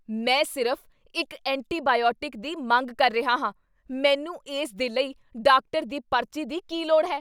ਮੈਂ ਸਿਰਫ਼ ਇੱਕ ਐਂਟੀਬਾਇਓਟਿਕ ਦੀ ਮੰਗ ਕਰ ਰਿਹਾ ਹਾਂ! ਮੈਨੂੰ ਇਸ ਦੇ ਲਈ ਡਾਕਟਰ ਦੀ ਪਰਚੀ ਦੀ ਕੀ ਲੋੜ ਹੈ?